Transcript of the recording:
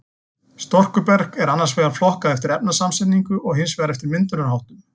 Storkuberg er annars vegar flokkað eftir efnasamsetningu og hins vegar eftir myndunarháttum.